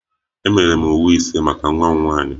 Emere m uwe ise maka nwa m nwanyị